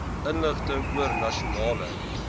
inligting oor nasionale